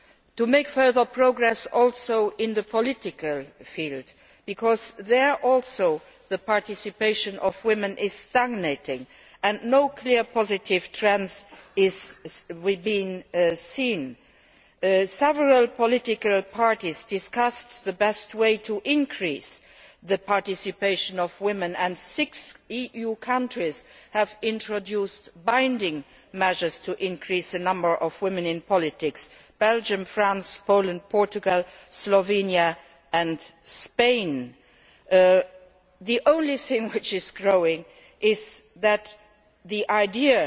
To make further progress also in the political field, because there also participation by women is stagnating and no clear positive trends are being seen, several political parties have discussed the best way to increase participation by women, and six EU countries have introduced binding measures to increase the number of women in politics Belgium, France, Poland, Portugal, Slovenia and Spain. The only thing which is growing is the